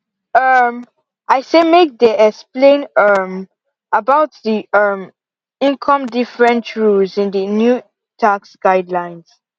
um i say make they explain um about the um income different rules in the new tax guidelines